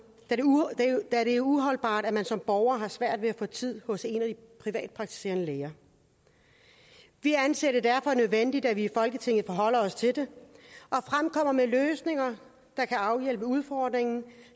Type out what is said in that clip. da det er uholdbart at man som borger har svært ved at få tid hos en af de privatpraktiserende læger vi anser det derfor for nødvendigt at vi i folketinget forholder os til det og fremkommer med løsninger der kan afhjælpe udfordringen